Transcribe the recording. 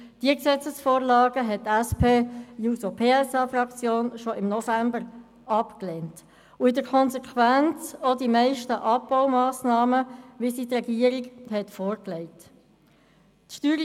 diese Gesetzesvorlagen hat die SP-JUSO-PSA-Fraktion schon in der Novembersession abgelehnt, und aus Konsequenz auch die meisten Abbaumassnahmen, welche die Regierung vorgelegt hat.